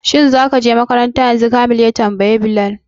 Shin za ka makaranta yanzu? Khamis ya tambayi Bilal